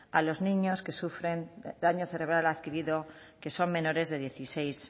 a los niños que sufren daño cerebral adquirido que son menores de dieciséis